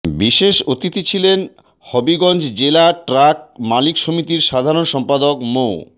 বিশেষ অতিথি ছিলেন হবিগঞ্জ জেলা ট্রাক মালিক সমিতির সাধারণ সম্পাদক মো